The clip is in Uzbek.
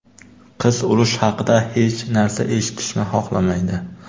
Qiz urush haqida hech narsa eshitishni xohlamaydi.